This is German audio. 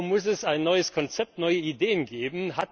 Darüber muss es ein neues Konzept, neue Ideen geben.